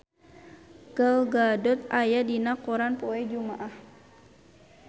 Gal Gadot aya dina koran poe Jumaah